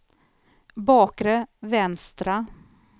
bakre vänstra